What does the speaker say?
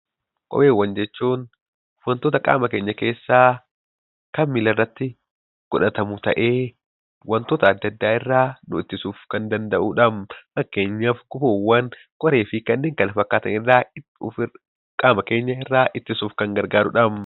Kopheewwan jechuun wantoota qaama keenya keessaa kan miilarratti godhatamu ta'ee, wantoota adda addaa irraa nu ittisuuf kan danda'udha. Fakkeenyaaf gufuuwwan, qoree fi kanneen kana fakkaatan irraa qaama keenyarraa ittisuuf kan fayyadudha.